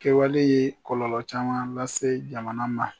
Kɛwale ye kɔlɔlɔ caman lase jamana na